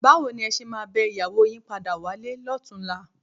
Báwo ni ẹ ṣe máa bẹ ìyàwó yín padà wálé lọ́tùnúnlá?